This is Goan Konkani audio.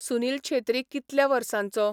सुनिल छेत्री कितल्या वर्सांचो?